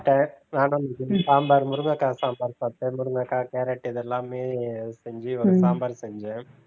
சாப்பிட்டேன் சாம்பார் முருங்கைக்காய் சாம்பார் சாப்பிட்டேன் முருங்கைக்காய் கேரட் இதெல்லாமே செஞ்சி சாம்பார் செஞ்சேன்